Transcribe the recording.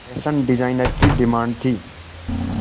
fashion designer की demand थी